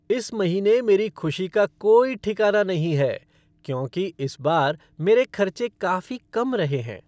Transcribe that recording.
इस महीने मेरी खुशी का कोई ठिकाना नहीं है क्यों इस बार मेरे खर्चे काफ़ी कम रहे हैं।